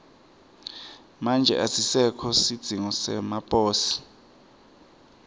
manje asisekho sidzingo semaposi